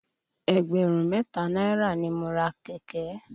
Ẹgbẹ̀rún mẹ́ta náírà ni mo ra kẹ̀kẹ́.